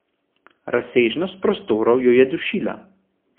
Razsežnost prostorov jo je dušila.